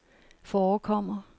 forekommer